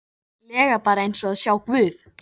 lega bara eins og að sjá guð.